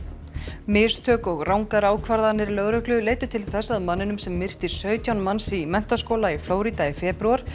mistök og rangar ákvarðanir lögreglu leiddu til þess að manninum sem myrti sautján manns í menntaskóla í Florída í febrúar